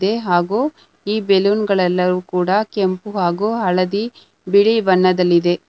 ಹಾಗು ಈ ಬಲೂನ್ ಗಳೆಲ್ಲವು ಕೂಡ ಕೆಂಪು ಹಾಗು ಹಳದಿ ಬಿಳಿ ಬಣ್ಣದಲ್ಲಿದೆ.